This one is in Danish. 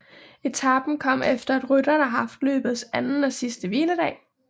Etapen kom efter at rytterne har haft løbets anden og sidste hviledag